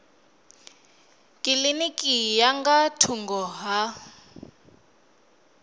kilinikini ya nga thungo ha